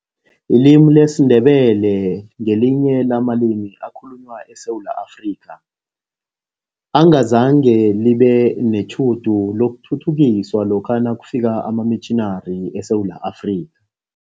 Ilimi lesiNdebele ngelinye lamalimi akhulunywa eSewula Afrika, engazange libe netjhudu lokuthuthukiswa lokha nakufika amamitjhinari eSewula Afrika.